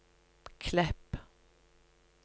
Klepp